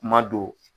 Kuma don